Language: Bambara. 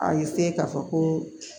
A k'a fɔ ko